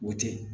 O tɛ